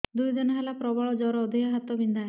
ଦୁଇ ଦିନ ହେଲା ପ୍ରବଳ ଜର ଦେହ ହାତ ବିନ୍ଧା